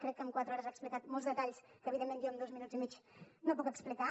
crec que amb quatre hores ha explicat molts detalls que evidentment jo en dos minuts i mig no puc explicar